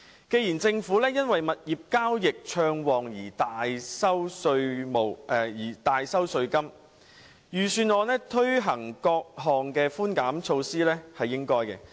既然政府因物業交易暢旺而大收稅金，財政預算案推行各項寬減措施是應該的。